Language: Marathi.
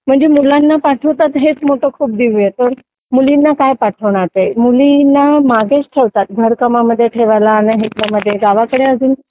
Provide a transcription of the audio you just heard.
म्हणजे मुलांना पाठवतात हेच खूप मोठं दिव्य आहे तर मुलींना काय पाठवणार ते मुलींना मागेच ठेवतात घर कामांमध्ये ठेवायला आणि हे गावाकडे अजून